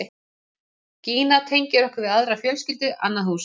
Gína tengir okkur við aðra fjölskyldu, annað hús.